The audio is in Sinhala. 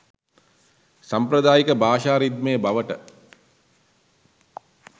සාම්ප්‍රදායික භාෂා රිද්මය බවට